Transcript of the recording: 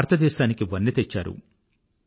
మీరు భారతదేశానికి వన్నె తెచ్చారు